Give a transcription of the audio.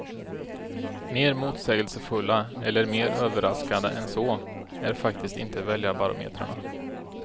Mer motsägelsefulla, eller mer överraskande än så, är faktiskt inte väljarbarometrarna.